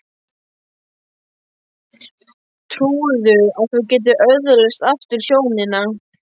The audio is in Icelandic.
Trúirðu að þú getir öðlast aftur sjónina?